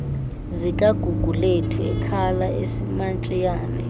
zikagugulethu ekhala esimantshiyane